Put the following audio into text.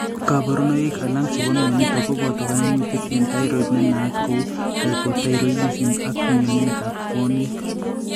kaborunoik alak chebo mionitok koboto kaimutik eng' thyroid nenaat kou hypothyroidism ak mionwekab buonwek